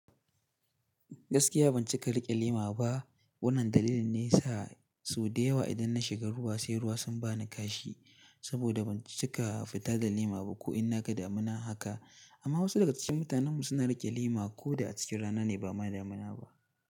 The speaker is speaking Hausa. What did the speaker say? Gaskiya ban cika riƙe lema ba. Wannan dalilin ne yasa sau da yawa idan na shiga ruwa sai ruwa sun ba ni kashi. Saboda ban cika fita da lema ba ko in na ga damina haka. Amma wasu daga cikin mutanenmu suna riƙe lema ko da a cikin rana ne ba ma damina ba.